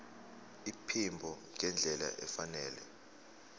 iphimbo ngendlela efanele